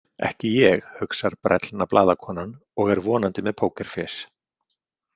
Ekki ég, hugsar brellna blaðakonan og er vonandi með pókerfés.